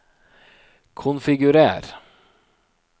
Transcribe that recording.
konfigurer